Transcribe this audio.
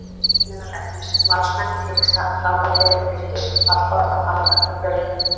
Meðal efnis: Valsmenn hiksta, Frábær byrjun Fylkis, fallbarátta framundan hjá Fjölni?